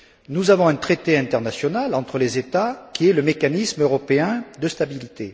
Nous avons un traité international entre les États, qui est le mécanisme européen de stabilité.